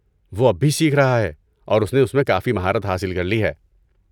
وہ اب بھی سیکھ رہا ہے اور اس نے اس میں کافی مہارت حاصل کر لی ہے۔